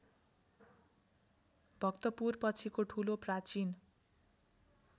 भक्तपुरपछिको ठूलो प्राचीन